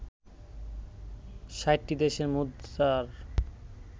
৬০টি দেশের মুদ্রার